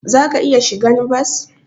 Zaka iya shigan bas.